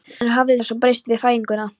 En hvað hafði svo breyst við fæðinguna?